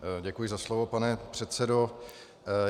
Děkuji za slovo, pane předsedo.